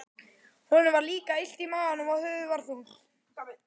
Honum var líka illt í maganum og höfuðið var þungt.